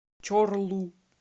чорлу